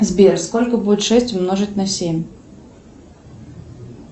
сбер сколько будет шесть умножить на семь